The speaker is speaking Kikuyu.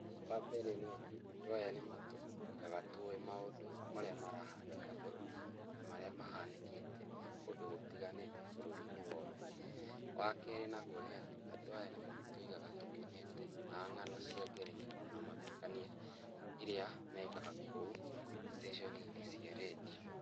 Wa mbere nĩ atĩ andũ aya nĩ matũigaga tũĩ maũndũ marĩa marahanĩka bũrũri-inĩ na marĩa mahanĩkĩte kũndũ gũtiganĩte bũrũri-inĩ wothe. Wa keri naguo nĩ atĩ, andũ aya nĩ matũigaga tũkenete na ng'ano cia ngerekano na mathekania iria mekaga kũu ceceni-inĩ cia redio.